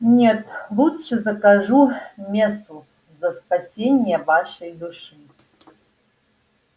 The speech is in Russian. нет лучше закажу мессу за спасение вашей души